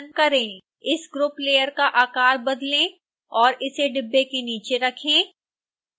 इस group layer का आकार बदलें और इसे डिब्बे के नीचे रखें